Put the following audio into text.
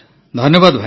ଧନ୍ୟବାଦ ଭାଇ